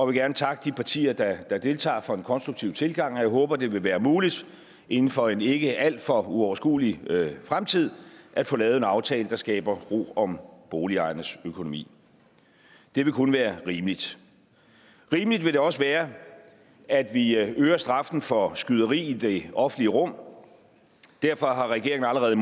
vil gerne takke de partier der deltager for en konstruktiv tilgang og jeg håber at det vil være muligt inden for en ikke alt for uoverskuelig fremtid at få lavet en aftale der skaber ro om boligejernes økonomi det vil kun være rimeligt rimeligt vil det også være at vi øger straffen for skyderi i det offentlige rum derfor har regeringen allerede